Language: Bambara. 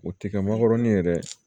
O tɛ kɛ magɔrɔni ye dɛ